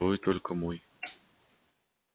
а вы только мой